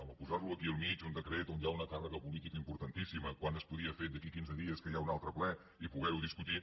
home posar lo aquí al mig un decret on hi ha una càrrega política importantíssima quan es podia fer d’aquí a quinze dies que hi ha un altre ple i poder ho discutir